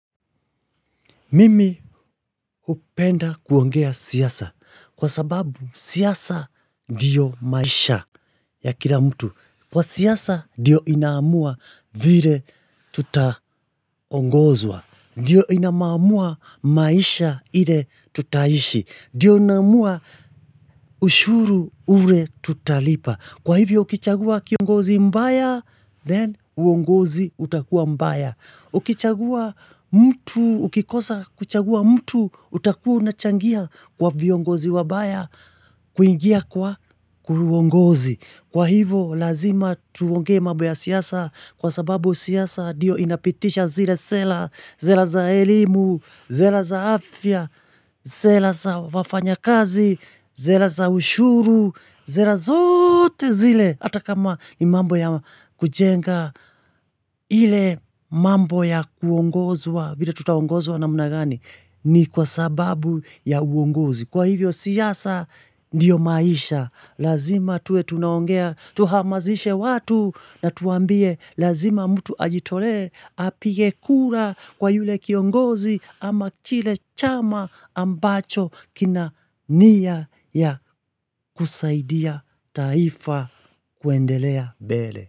Mimi hupenda kuongea siasa. Kwa sababu siasa ndiyo maisha ya kila mtu. Kwa siasa diyo inamua vile tutaongozwa. Ndio inamua maisha ile tutaishi. Ndio inamua ushuru ule tutalipa. Kwa hivyo ukichagua kiongozi mbaya, then uongozi utakuwa mbaya. Ukichagua mtu, ukikosa kuchagua mtu, utakua unachangia kwa viongozi wabaya, kuingia kwa uongozi. Kwa hivo, lazima tuonge mambo ya siasa kwa sababu siasa ndio inapitisha zile sera, sera za elimu, sera za afya, sera za wafanya kazi, sera za ushuru, sera zote zile. Hata kama nimambo ya kujenga ile mambo ya kuongozuwa, vile tutaongozuwa na mna gani, ni kwa sababu ya uongozi. Kwa hivyo siasa ndiyo maisha, lazima tuwe tunaongea, tuhamazishe watu na tuambie lazima mtu ajitole apigekura kwa yule kiongozi ama chile chama ambacho kina nia ya kusaidia taifa kuendelea mbele.